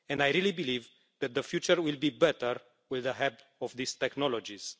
I really believe that the future will be better with the help of these technologies.